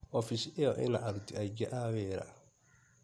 Ofici ĩyo ĩna aruti aingĩ a wĩra.